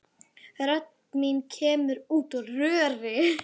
Rödd mín kemur út úr röri.